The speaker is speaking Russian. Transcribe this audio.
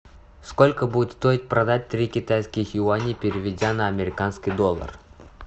сколько будет стоить продать три китайских юаней переведя на американский доллар